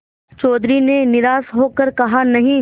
चौधरी ने निराश हो कर कहानहीं